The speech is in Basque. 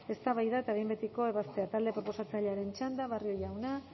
eztabaida eta behin betiko ebazpena talde proposatzailearen txanda barrio jauna